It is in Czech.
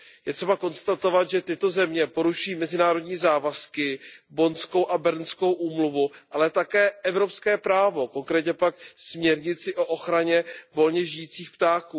Je třeba konstatovat, že tyto země porušují mezinárodní závazky, Bonnskou a Bernskou úmluvu, ale také evropské právo, konkrétně pak směrnici o ochraně volně žijících ptáků.